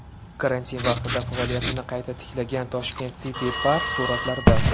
Karantin paytida faoliyatini qayta tiklagan Tashkent City Park suratlarda.